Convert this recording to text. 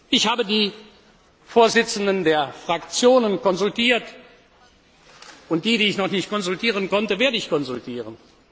will. Ich habe die Vorsitzenden der Fraktionen konsultiert, und die, die ich noch nicht konsultieren konnte, werde ich konsultieren.